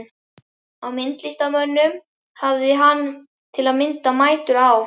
Af myndlistarmönnum hafði hann, til að mynda, mætur á